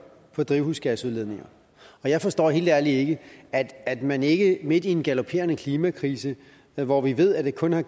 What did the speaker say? på drivhusgasudledninger jeg forstår helt ærligt ikke at at man ikke midt i en galopperende klimakrise hvor vi ved at vi kun har